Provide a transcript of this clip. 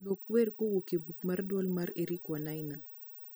duok wer kuo e buk marduol mar eric wainaina